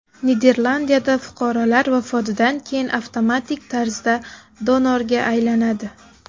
Niderlandiyada fuqarolar vafotidan keyin avtomatik tarzda donorga aylanadi.